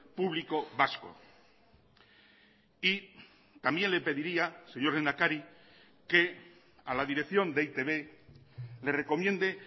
público vasco y también le pediría señor lehendakari que a la dirección de e i te be le recomiende